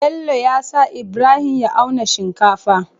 Bello yasa ibrahim ya auna shinkafa